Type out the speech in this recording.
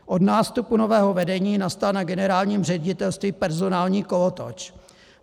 Od nástupu nového vedení nastal na generálním ředitelství personální kolotoč.